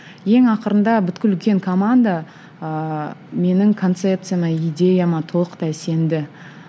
ең ақырында үлкен команда ыыы менің концепцияма идеяма толықтай сенді